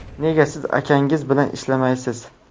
Nega siz akangiz bilan ishlamaysiz?